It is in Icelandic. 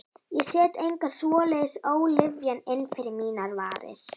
Ég set enga svoleiðis ólyfjan inn fyrir mínar varir.